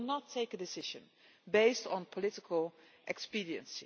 We will not take a decision based on political expediency.